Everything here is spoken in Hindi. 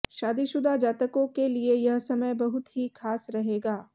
शादीशुदा जातकों के लिए यह समय बहुत ही खास रहेगा